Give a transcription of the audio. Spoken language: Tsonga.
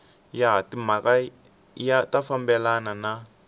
ya timhaka ya fambelana na